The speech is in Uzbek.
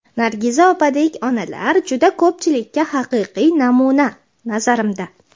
Nargiza opadek onalar juda ko‘pchilikka haqiqiy namuna, nazarimda.